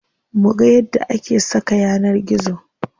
Muga yadda ake saka yanar gizo.